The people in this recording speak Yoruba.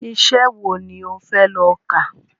Iṣẹ wo ni o fẹ lọ ká?